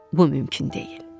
Bu mümkün deyil.